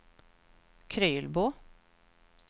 Krylbo